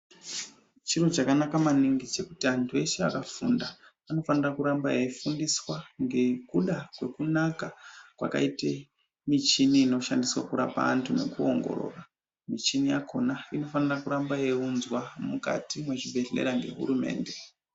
Chiro chakanaka maningi chekuti antu eshe akafunda anofanira kuramba eyi fundiswa ngekuda kwekunaka kwakaite michini inoshandiswa kurapa antu neku ongorora muchini yakona inofanira kuramba yei unzwa mukati mwe zvibhedhlera nge hurumende.